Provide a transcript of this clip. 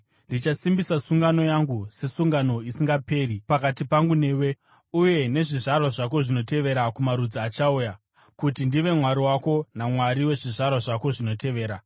Ndichasimbisa sungano yangu sesungano isingaperi pakati pangu newe uye nezvizvarwa zvako zvinotevera kumarudzi achauya, kuti ndive Mwari wako naMwari wezvizvarwa zvako zvinotevera.